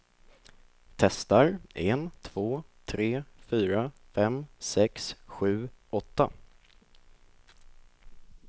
Testar en två tre fyra fem sex sju åtta.